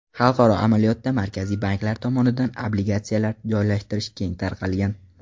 Xalqaro amaliyotda markaziy banklar tomonidan obligatsiyalar joylashtirish keng tarqalgan.